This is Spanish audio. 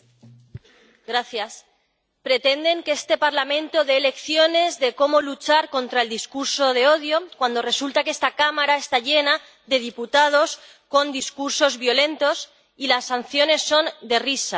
Señora presidenta, pretenden que este Parlamento dé lecciones de cómo luchar contra el discurso de odio, cuando resulta que esta Cámara está llena de diputados con discursos violentos y las sanciones son de risa.